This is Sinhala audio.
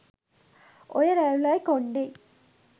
ඔය රැවුලයි කොන්ඩෙයි